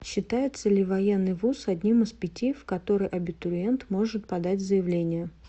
считается ли военный вуз одним из пяти в который абитуриент может подать заявление